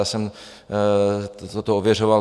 Já jsem toto ověřoval.